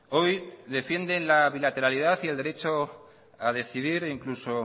hoy defiende la bilateralidad y el derecho a decidir incluso